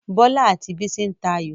Bọlá àti Bísí ń tayò